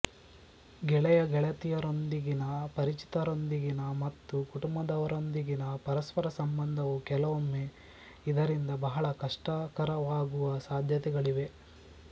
ಗೆಳೆಯಗೆಳೆತಿಯರೊಂದಿಗಿನ ಪರಿಚಿತರೊಂದಿಗಿನ ಮತ್ತು ಕುಟುಂಬದವರೊಂದಿಗಿನ ಪರಸ್ಪರ ಸಂಬಂಧವೂ ಕೆಲವೊಮ್ಮೆ ಇದರಿಂದ ಬಹಳ ಕಷ್ಟಕರವಾಗುವ ಸಾಧ್ಯತೆಗಳಿವೆ